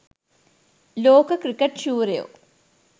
ලෝක ක්‍රිකට් ශූරයෝ